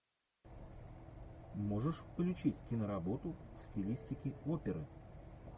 можешь включить киноработу в стилистике оперы